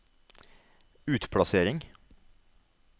utplassering